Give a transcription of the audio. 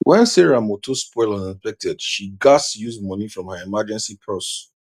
when sarah motor spoil unexpected she gatz use money from her emergency purse